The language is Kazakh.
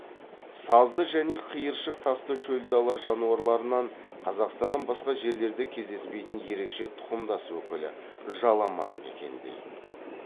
сазды және қиыршық тасты шөл дала жануарларынан қазақстаннан басқа жерлерде кездеспейтін ерекше тұқымдас өкілі жаламан мекендейді